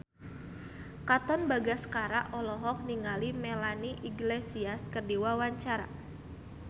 Katon Bagaskara olohok ningali Melanie Iglesias keur diwawancara